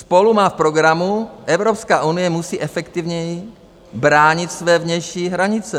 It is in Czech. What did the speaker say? SPOLU má v programu: Evropská unie musí efektivněji bránit své vnější hranice.